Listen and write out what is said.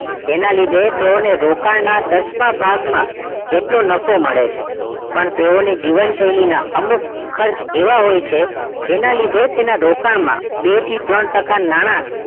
તેના લીધે તેઓના રોકાણ દસમા ભાગમાં જેટલો નફો મળે છે પણ તેઓના જીવન શૈલીના અમુક ખર્ચ એવા હોય છે જેના લીધે તેના રોકાણમાં બે થી ત્રણ ટકા નાણા